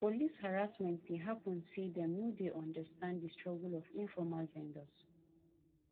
police harassment dey happen say dem no dey understand di struggle of informal vendors